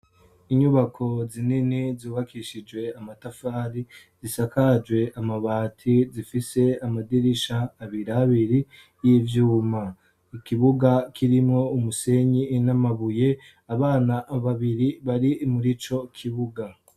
inyubako zinini zubakishije amatafari zisakajwe amabati zifise amadirisha abiri abiri y'ivyuma ikibuga kirimwo umusenyi inamabuye abana babiri bari muri co kibuga